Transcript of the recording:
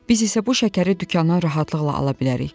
Biz isə bu şəkəri dükandan rahatlıqla ala bilərik.